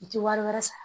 I tɛ wari wɛrɛ sara